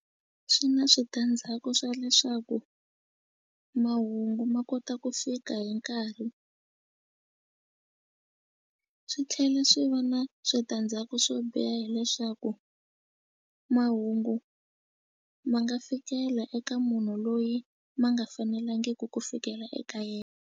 Swi na switandzhaku swa leswaku mahungu ma kota ku fika hi nkarhi swi tlhela swi va na switandzhaku swo biha hileswaku mahungu ma nga fikela eka munhu loyi ma nga fanelangiki ku fikela eka yena.